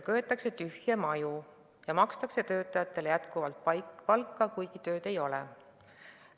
Köetakse tühje maju ja makstakse töötajatele palka, kuigi tööd ei ole.